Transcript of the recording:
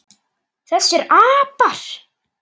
Þessir apar!